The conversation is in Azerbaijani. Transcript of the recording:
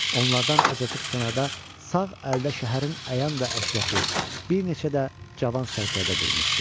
Onlardan azacıq kənarda sağ əldə şəhərin əyan və əşrəfi, bir neçə də cavan sərkərdə durmuşdu.